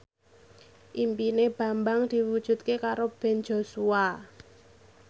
impine Bambang diwujudke karo Ben Joshua